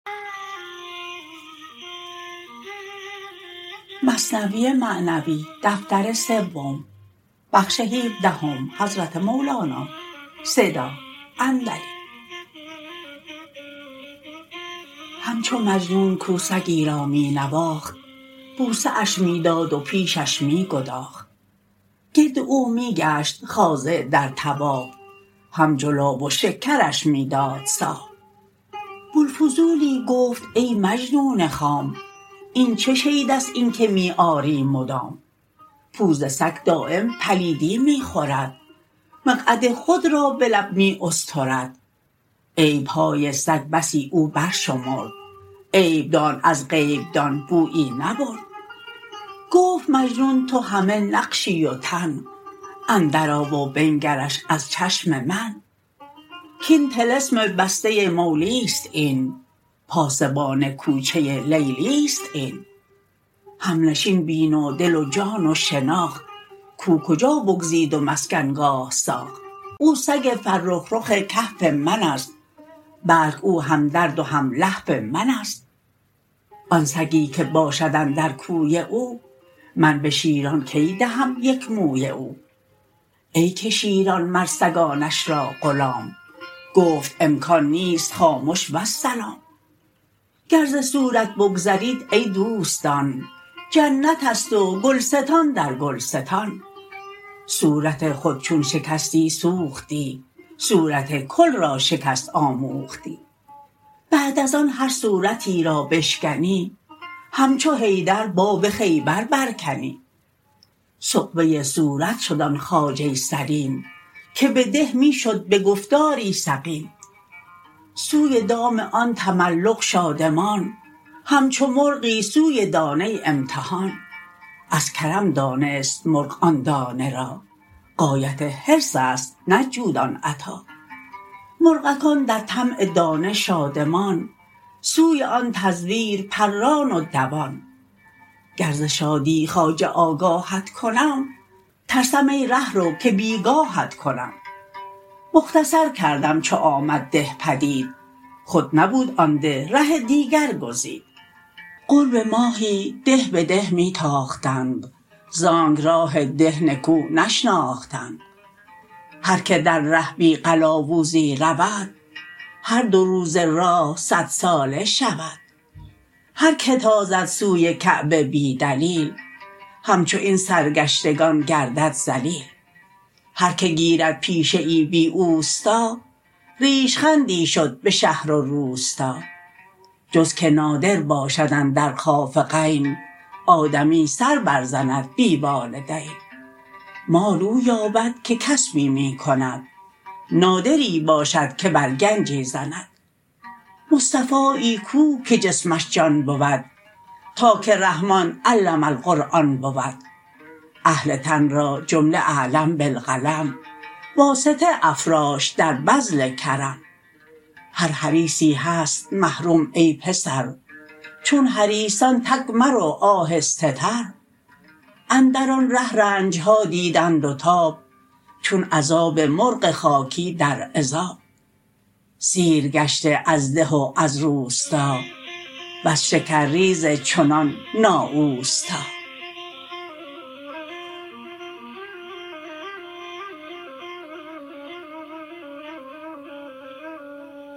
همچو مجنون کاو سگی را می نواخت بوسه اش می داد و پیشش می گداخت گرد او می گشت خاضع در طواف هم جلاب شکرش می داد صاف بوالفضولی گفت ای مجنون خام این چه شیدست این که می آری مدام پوز سگ دایم پلیدی می خورد مقعد خود را به لب می استرد عیبهای سگ بسی او بر شمرد عیب دان از غیب دان بویی نبرد گفت مجنون تو همه نقشی و تن اندر آ و بنگرش از چشم من کاین طلسم بسته مولیست این پاسبان کوچه لیلیست این همنشین بین و دل و جان و شناخت کاو کجا بگزید و مسکن گاه ساخت او سگ فرخ رخ کهف منست بلک او هم درد و هم لهف منست آن سگی که باشد اندر کوی او من به شیران کی دهم یک موی او ای که شیران مر سگانش را غلام گفت امکان نیست خامش والسلام گر ز صورت بگذرید ای دوستان جنت است و گلستان در گلستان صورت خود چون شکستی سوختی صورت کل را شکست آموختی بعد از آن هر صورتی را بشکنی همچو حیدر باب خیبر بر کنی سغبه صورت شد آن خواجه سلیم که به ده می شد به گفتاری سقیم سوی دام آن تملق شادمان همچو مرغی سوی دانه امتحان از کرم دانست مرغ آن دانه را غایت حرص است نه جود آن عطا مرغکان در طمع دانه شادمان سوی آن تزویر پران و دوان گر ز شادی خواجه آگاهت کنم ترسم ای ره رو که بیگاهت کنم مختصر کردم چو آمد ده پدید خود نبود آن ده ره دیگر گزید قرب ماهی ده به ده می تاختند زانک راه ده نکو نشناختند هر که در ره بی قلاوزی رود هر دو روزه راه صدساله شود هر که تازد سوی کعبه بی دلیل همچو این سرگشتگان گردد ذلیل هر که گیرد پیشه ای بی اوستا ریش خندی شد به شهر و روستا جز که نادر باشد اندر خافقین آدمی سر بر زند بی والدین مال او یابد که کسبی می کند نادری باشد که بر گنجی زند مصطفایی کو که جسمش جان بود تا که رحمن علم القرآن بود اهل تن را جمله علم بالقلم واسطه افراشت در بذل کرم هر حریصی هست محروم ای پسر چون حریصان تگ مرو آهسته تر اندر آن ره رنجها دیدند و تاب چون عذاب مرغ خاکی در عذاب سیر گشته از ده و از روستا وز شکرریز چنان نا اوستا